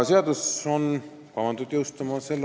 Seadus on kavandatud jõustuma s.